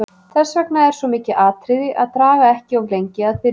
Þess vegna er svo mikið atriði að draga ekki of lengi að byrja.